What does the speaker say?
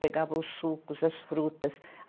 Pegava os sucos, as frutas.